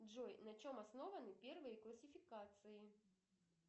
джой на чем основаны первые классификации